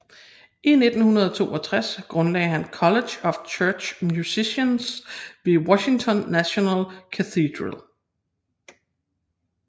I 1962 grundlagde han College of Church Musicians ved Washington National Cathedral